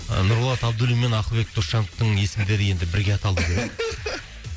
нұрболат абдуллин мен ақылбек досжановтың есімдері енді бірге аталып жүреді